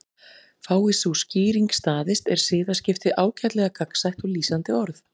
Fái sú skýring staðist er siðaskipti ágætlega gagnsætt og lýsandi orð.